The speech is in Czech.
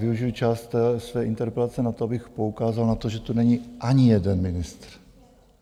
Využiji část své interpelace na to, abych poukázal na to, že tu není ani jeden ministr.